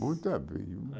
Muitas vezes.